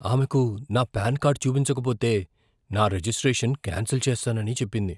ఆమెకు నా PAN card చూపించకపోతే నా రిజిస్ట్రేషన్ క్యాన్సిల్ చేస్తానని చెప్పింది.